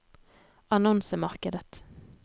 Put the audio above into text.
annonsemarkedet